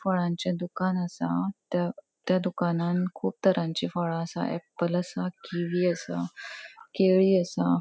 फळांचे दुकान असा. त्या त्या दुकानान कुब तरांची फळां असा एप्पल असा कीवि असा केळी असा.